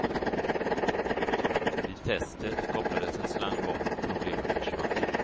Vid testet kopplades en slang bort och problemen försvann.